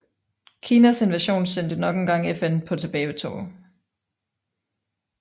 Kinas invasion sendte nok engang FN på tilbagetog